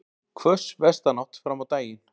Hvöss vestanátt fram á daginn